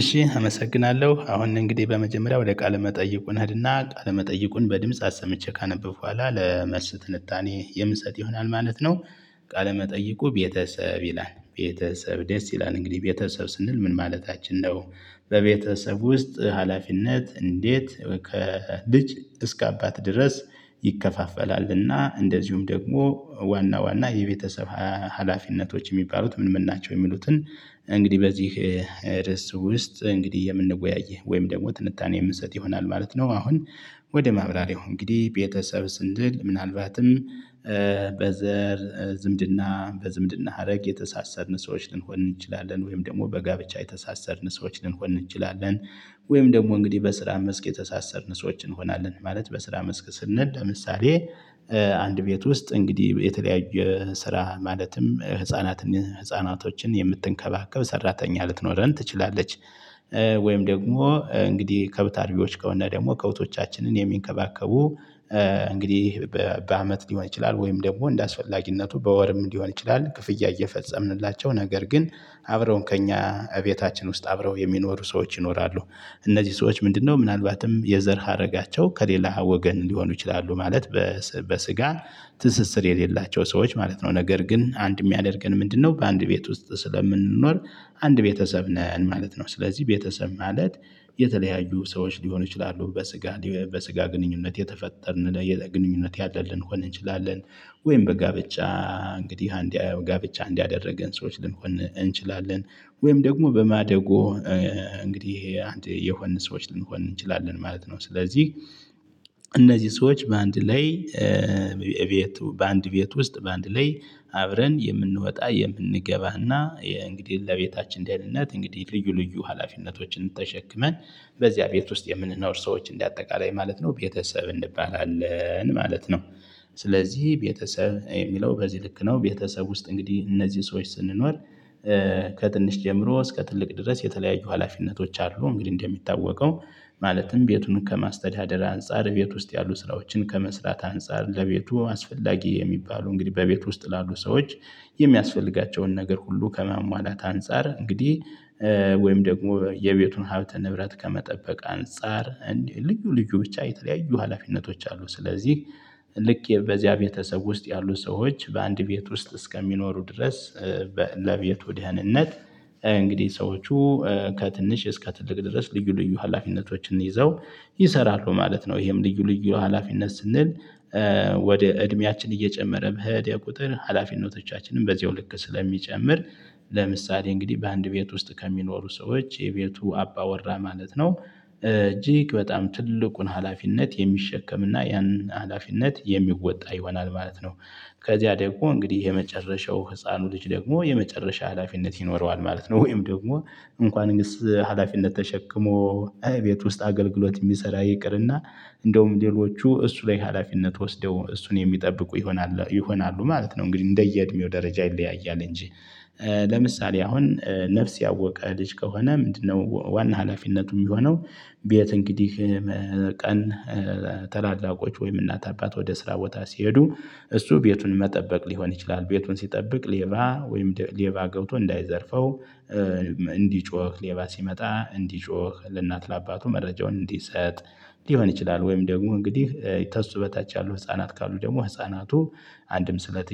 እሺ አመሰግናለሁ አሁን እንግዲህ በመጀመሪያ ወደ ቃለ መጠይቁን እንሄድና ቃለ መጠይቁን በድምጽ አሰምቼ ካነበብኩ በኋል ለመልስ ትንታኔ የምሰጥ ይሆናል ማለት ነው። ቃለመጠይቁ ቤተሰብ ይላል ቤተሰብ ደስ ይላል እንግዲህ ቤተሰብ ስንል ምን ማለታችን ነው? በቤተሰብ ውስጥ ሀላፊነት እንዴት ከልጅ እስከ አባት ድረስ ይከፋፈላልና እንደዚሁም ደግሞ ዋና ዋና የቤተሰብ ሀላፊነቶች የሚባሉት ምን ምን ናቸው የሚሉትን? እንግዲህ በዚህ ርዕስ ውስጥ እንግዲህ የምንወያይ ወይም ደግሞ ትንታኔ የምንሰጥ ይሆናል ማለት ነው። አሁን ወደ ማብራሪያው እንግዲህ ቤተሰብ ስንል ምናልባትም በዘር ዝምድና በዝምድና ሀረግ የተሳሰርን ሰዎች ልንሆን እንችላለን ወይም ደግሞ በጋብቻ የተሳሰርን ሰዎች ልንሆን እንችላለን ወይም ደግሞ እንግዲህ በስራ መስክ የተሳሰርን ሰዎች እንሆናለን ማለት በስራ መስክ ስንል ምሳሌ አንድ ቤት ውስጥ እንግዲህ የተለያየ ስራ ማለትም ህፃናትን ህፃናቶችን የምትንከባከብ ሰራተኛ ልትኖረን ትችላለች። ወይም ደግሞ እንግዲህ ከብት አርቢዎች ከሆነ ደግሞ ከብቶቻችንን የሚንከባከቡ እንግዲህ በአመት ሊሆን ይችላል ወይም ደግሞ እንደአስፈላጊነቱ በወርም እንዲሆን ይችላል ክፍያ እየፈጸምንላቸው ነገር ግን አብረውን ከእኛ እቤታችን ውስጥ አብረው የሚኖሩ ሰዎች ይኖራሉ። እነዚህ ሰዎች ምንድነው ምናልባትም የዘር ሀረጋቸው ከሌላ ወገን ሊሆኑ ይችላሉ ማለት በስጋ ትስስር የሌላቸው ሰዎች ማለት ነው። ነገር ግን አንድ የሚያደርገን ምንድነው? በአንድ ቤት ውስጥ ስለምንኖር አንድ ቤተሰብ ነን ማለት ነው። ስለዚህ ቤተሰብ ማለት የተለያዩ ሰዎች ሊሆኑ ይችላሉ በስጋ በስጋ ግንኙነት የተፈጠርን ለግንኙነት ያለን ልንሆን እንችላለን። ወይም በጋብቻ እንግዲህ አንድ ጋብቻ እንድ ያደረገን ሰዎች ልንሆን እንችላለን ወይም ደግሞ በማደጎ እንግዲህ አንድ የሆንን ሰዎች ልንሆን እንችላለን ማለት ነው። ስለዚህ እነዚህ ሰዎች በአንድ ላይ በአንድ ቤት ውስጥ በአንድ ላይ አብረን የምንወጣ የምንገባና እንግዲህ ለቤታችን ደህንነት እንግዲህ ልዩ ልዩ ሀላፊነቶችን ተሸክመን በዚያ ቤት ውስጥ የምንኖር ሰዎች እንደ አጠቃላይ ማለት ነው ቤተሰብ እንባላለን ማለት ነው። ስለዚህ ቤተሰብ የሚለው በዚህ ልክ ነው ቤተሰብ ውስጥ እንግዲህ እነዚህ ሰዎች ስንኖር ከትንሽ ጀምሮ እስከ ትልቅ ድረስ የተለያዩ ሀላፊነቶች አሉ። እንግዲህ እንደሚታወቀው ማለትም ቤቱን ከማስተዳደር አንፃር ቤት ውስጥ ያሉ ስራዎችን ከመስራት አንፃር ለቤቱ አስፈላጊ የሚባሉ እንግዲህ በቤቱ ውስጥ ላሉ ሰዎች የሚያስፈልጋቸውን ነገር ሁሉ ከማሟላት አንፃር እንግዲህ ወይም ደግሞ የቤቱን ሀብተ ንብረት ከመጠበቅ አንፃር እንደ ልዩ ልዩ ብቻ የተለያዩ ሀላፊነቶች አሉ። ስለዚህ ልክ በዚያ ቤተሰብ ውስጥ ያሉ ሰዎች በአንድ ቤት ውስጥ እስከሚኖሩ ድረስ ለቤቱ ደህንነት እንግዲህ ሰዎቹ ከትንሽ እስከ ትልቅ ድረስ ልዩ ልዩ ሀላፊነቶችን ይዘው ይሰራሉ ማለት ነው። ይሄም ልዩ ልዩ ሀላፊነት ስንል ወደ እድሜያችን እየጨመረ በሄደ የቁጥር ሀላፊነቶቻችንን በዚሁ ልክ ስለሚጨምር ለምሳሌ እንግዲህ በአንድ ቤት ውስጥ ከሚኖሩ ሰዎች የቤቱ አባ ወራ ማለት ነው እጅግ በጣም ትልቁን ሀላፊነት የሚሸከም እና ያንን ሀላፊነት የሚወጣ ይሆናል ማለት ነው። ከዚያ ደግሞ እንግዲህ የመጨረሻው ህፃኑ ልጅ ደግሞ የመጨረሻ ሀላፊነት ይኖረዋል ማለት ነው። ወይም ደግሞ እንኳንስ ሀላፊነት ተሸክሞ እቤት ውስጥ አገልግሎት የሚሰራ ይቅርና እንደውም ሌሎቹ እሱ ላይ ሀላፊነት ወስደው እሱን የሚጠብቁ ይሆናሉ ይሆናሉ ማለት ነው። እንግዲህ እንደየ እድሜው ደረጃ ይለያያል እንጂ ለምሳሌ አሁን ነፍስ ያወቀ ልጅ ከሆነ ምንድነው ዋና ሀላፊነቱ የሚሆነው? ቤት እንግዲህ ቀን ታላላቆች ወይም እናት አባት ወደ ስራ ቦታ ሲሄዱ እሱ ቤቱን መጠበቅ ሊሆን ይችላል ቤቱን ሲጠብቅ ሌባ ወይም ሌባ ገብቶ እንዳይዘርፈው እንዲጮህ ሌባ ሲመጣ እንዲጮህ ለእናት ለአባቱ መረጃውን እንዲሰጥ ሊሆን ይችላል። ወይም ደግሞ እንግዲህ ተሱ በታች ያሉ ህፃናት ካሉ ደግሞ ህፃናቱ አንድም ስለት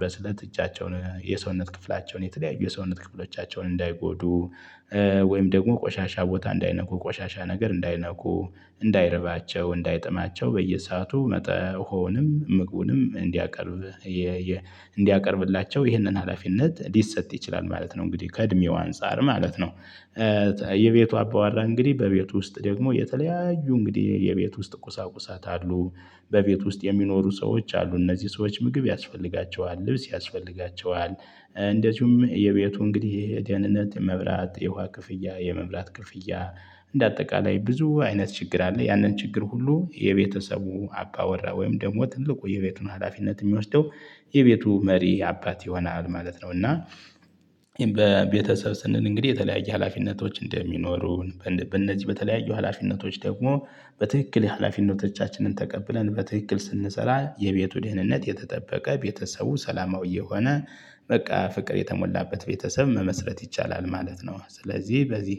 በስለት እጃቸውን የሰውነት ክፍላቸውን የተለያዩ ሰውነት ክፍሎቻቸውን እንዳይጎዱ ወይም ደግሞ ቆሻሻ ቦታ እንዳይነኩ ቆሻሻ ነገር እንዳይነኩ እንዳይርባቸው እንዳይጠማቸው በየሰአቱ መጥሆንም ምግቡንም እንዲያቀርብ እንዲያቀርብላቸው ይህንን ሀላፊነት ሊሰጥ ይችላል ማለት ነው። እንግዲህ ከእድሜው አንፃር ማለት ነው የቤቱ አባወራ እንግዲህ በቤቱ ውስጥ ደግሞ የተለያዩ እንግዲህ የቤት ውስጥ ቁሳቁሳት አሉ። በቤት ውስጥ የሚኖሩ ሰዎች አሉ እነዚህ ሰዎች ምግብ ያስፈልጋቸዋል ልብስ ያስፈልጋቸዋል። እንደዚሁም የቤቱ እንግዲህ የደህንነት የመብራት የውሃ ክፍያ የመብራት ክፍያ እንደ አጠቃላይ ብዙ አይነት ችግር አለ። ያንን ችግር ሁሉ የቤተሰቡ አባ ወራ ወይም ደግሞ ትልቁ የቤቱን ሀላፊነት የሚወስደው የቤቱ መሪ አባት ይሆናል ማለት ነው። እና በቤተሰብ ስንል እንግዲህ የተለያየ ሀላፊነቶች እንደሚኖሩ በእነዚህ በተለያዩ ሀላፊነቶች ደግሞ በትክክል ሀላፊነቶቻችንን ተቀብለን በትክክል ስንሰራ የቤቱ ደህንነት የተጠበቀ ቤተሰቡ ሰላማዊ የሆነ በቃ ፍቅር የተሞላበት ቤተሰብ መመስረት ይቻላል ማለት ነው። ስለዚህ በዚህ